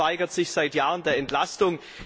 Der Rat verweigert sich seit Jahren der Entlastung.